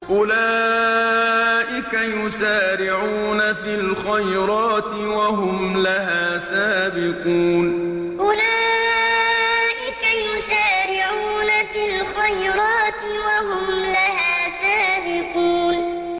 أُولَٰئِكَ يُسَارِعُونَ فِي الْخَيْرَاتِ وَهُمْ لَهَا سَابِقُونَ أُولَٰئِكَ يُسَارِعُونَ فِي الْخَيْرَاتِ وَهُمْ لَهَا سَابِقُونَ